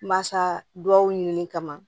Masa dugawu ɲini kama